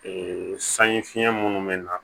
sanji fiɲɛ munnu bɛ na